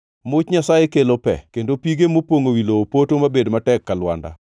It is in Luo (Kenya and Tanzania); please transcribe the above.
Much Nyasaye kelo pe kendo pige mopongʼo wi lowo poto mabed matek ka lwanda.